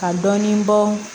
Ka dɔɔnin bɔ